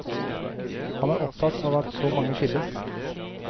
Han er opptatt av at så mange skilles.